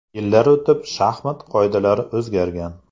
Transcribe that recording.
Yillar o‘tib shaxmat qoidalari o‘zgargan.